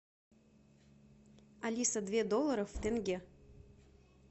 алиса две долларов в тенге